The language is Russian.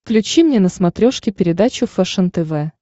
включи мне на смотрешке передачу фэшен тв